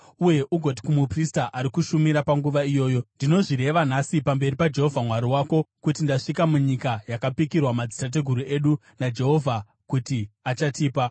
uye ugoti kumuprista ari kushumira panguva iyoyo, “Ndinozvireva nhasi pamberi paJehovha Mwari wako kuti ndasvika munyika yakapikirwa madzitateguru edu naJehovha kuti achatipa.”